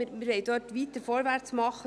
Wir wollen dort weiter vorwärts machen.